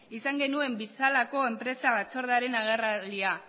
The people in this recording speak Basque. izan genuen bizalako enpresa batzordearen agerraldia